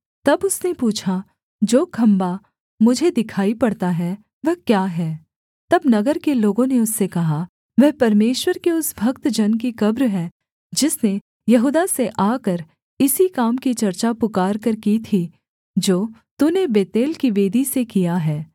तब उसने पूछा जो खम्भा मुझे दिखाई पड़ता है वह क्या है तब नगर के लोगों ने उससे कहा वह परमेश्वर के उस भक्त जन की कब्र है जिसने यहूदा से आकर इसी काम की चर्चा पुकारकर की थी जो तूने बेतेल की वेदी से किया है